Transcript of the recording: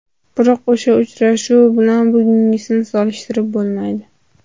Biroq o‘sha uchrashuv bilan bugungisini solishtirib bo‘lmaydi.